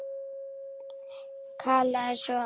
Kallaði svo